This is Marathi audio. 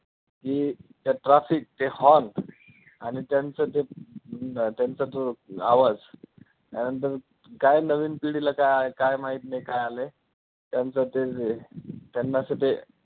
की ते traffic ते hall आणि त्यांचं तो अं त्यांचा तो आवाज त्यानंतर काय नवीन पिढीला काय काय माहिती नाही काय आलंय, त्यांच तेच आहे त्यांना असं ते